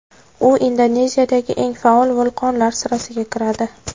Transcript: U Indoneziyadagi eng faol vulqonlar sirasiga kiradi.